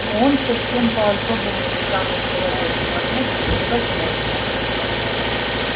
но он совсем по-особому странный человек и понять его невозможно